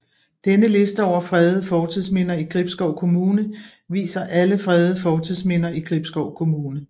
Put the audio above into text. Denne liste over fredede fortidsminder i Gribskov Kommune viser alle fredede fortidsminder i Gribskov Kommune